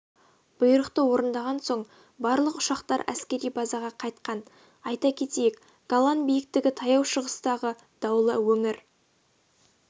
бұйрықты орындаған соң барлық ұшақтар әскери базаға қайтқан айта кетейік голан биіктігі таяу шығыстағы даулы өңір